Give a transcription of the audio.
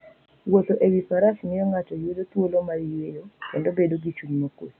Wuotho e wi faras miyo ng'ato yudo thuolo mar yueyo, kendo bedo gi chuny mokuwe.